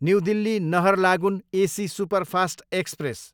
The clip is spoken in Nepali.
new Delhi, Naharlagun AC superfast express